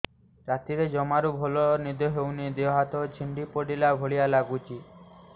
ରାତିରେ ଜମାରୁ ଭଲ ନିଦ ହଉନି ଦେହ ହାତ ଛିଡି ପଡିଲା ଭଳିଆ ଲାଗୁଚି